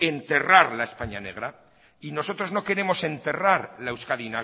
enterrar la españa negra y nosotros no queremos enterrar la euskadi